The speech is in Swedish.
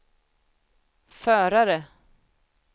förare